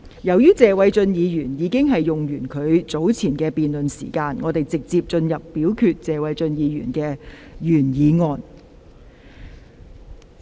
由於謝偉俊議員已用畢其發言時間，本會現即就謝偉俊議員動議的議案進行表決。